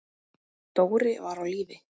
Dóri var á lífi.